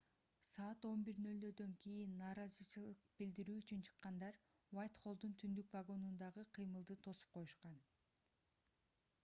саат 11:00 кийин нааразычылык билдирүү үчүн чыккандар уайтхоллдун түндүк вагонундагы кыймылды тосуп коюшкан